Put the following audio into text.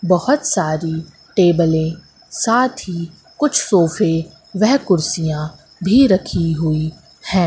बहोत सारी टेबलें साथ ही कुछ सोफे वह कुर्सियां भी रखी हुई हैं।